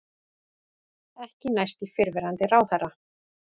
Ekki næst í fyrrverandi ráðherra